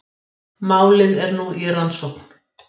Málið er nú í rannsókn